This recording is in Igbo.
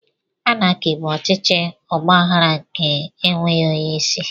Anaki bụ ọchịchị ọgbaghara nke ndi e nweghị onye isi